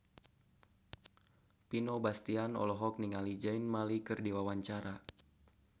Vino Bastian olohok ningali Zayn Malik keur diwawancara